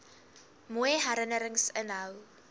mooi herinnerings inhou